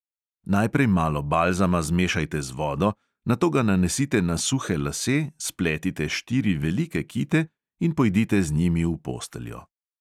Najprej malo balzama zmešajte z vodo, nato ga nanesite na suhe lase, spletite štiri velike kite in pojdite z njimi v posteljo.